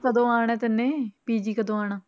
ਕਦੋਂ ਆਉਣਾ ਹੈ ਤੈਨੇ PG ਕਦੋਂ ਆਉਣਾ।